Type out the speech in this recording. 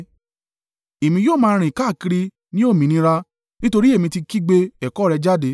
Èmi yóò máa rìn káàkiri ní òmìnira, nítorí èmi ti kígbe ẹ̀kọ́ rẹ jáde.